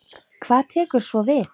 Hvað tekur svo við?